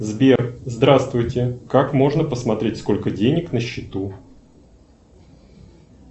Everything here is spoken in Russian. сбер здравствуйте как можно посмотреть сколько денег на счету